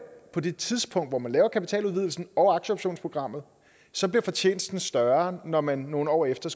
på det tidspunkt hvor man laver kapitaludvidelsen og aktieoptionsprogrammet så bliver fortjenesten større når man nogle år efter